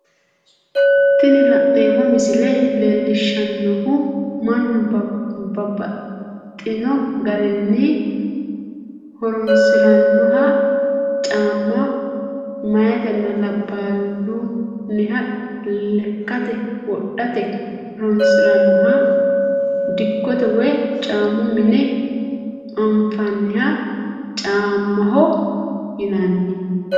Tini la'neemo misile leellishanohu mannu babaxxino garinni horonsiranohha caama meyetenna labahuniha lekate wodhate horonsiranoha dikkotte woyi caamu mine afina'niha caamaho yinanni